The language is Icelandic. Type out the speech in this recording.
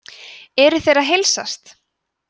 eru þeir að heilsast